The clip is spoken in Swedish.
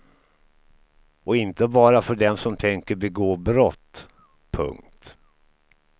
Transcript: Och inte bara för den som tänker begå brott. punkt